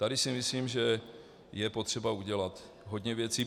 Tady si myslím, že je potřeba udělat hodně věcí.